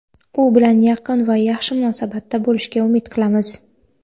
u bilan yaqin va yaxshi munosabatda bo‘lishga umid qilamiz.